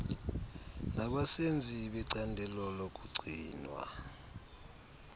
nabasenzi becandelo lokugcinwa